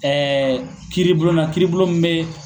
kiribulon na kiribulon min bɛ.